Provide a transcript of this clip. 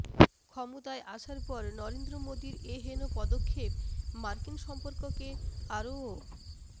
ক্ষমতায় আসার পর নরেন্দ্র মোদীর এ হেন পদক্ষেপ মার্কিন সম্পর্ককে আরও